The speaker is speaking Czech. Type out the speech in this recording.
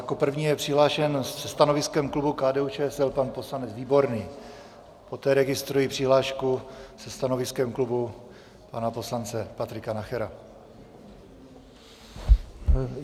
Jako první je přihlášen se stanoviskem klubu KDU-ČSL pan poslanec Výborný, poté registruji přihlášku se stanoviskem klubu pana poslance Patrika Nachera.